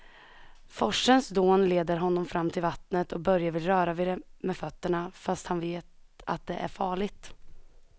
Forsens dån leder honom fram till vattnet och Börje vill röra vid det med fötterna, fast han vet att det är farligt.